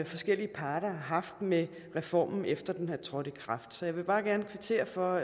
forskellige parter har haft med reformen efter at den er trådt i kraft så jeg vil bare gerne kvittere for